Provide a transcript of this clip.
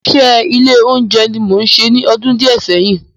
Ìránṣẹ́ ilé oúnjẹ ni mo ṣe ní ọdún díẹ̀ sẹ́yìn